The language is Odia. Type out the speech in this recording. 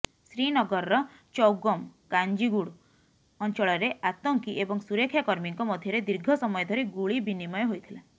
ଶ୍ରୀନଗରର ଚୌଗମ କାଜିଂଗୁଡ଼ ଅଞ୍ଚଳରେ ଆତଙ୍କୀ ଏବଂ ସୁରକ୍ଷାକର୍ମୀଙ୍କ ମଧ୍ୟରେ ଦୀର୍ଘ ସମୟ ଧରି ଗୁଳି ବିନିମୟ ହୋଇଥିଲା